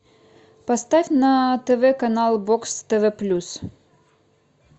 поставь на тв канал бокс тв плюс